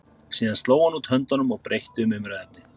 Síðan sló hann út höndunum og breytti um umræðuefni.